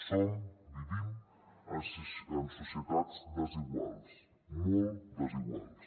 som vivim en societats desiguals molt desiguals